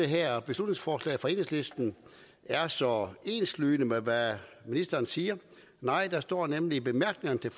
her beslutningsforslag fra enhedslisten er så enslydende med hvad ministeren siger nej der står nemlig i bemærkningerne til